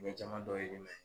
O ye jama dɔ ye i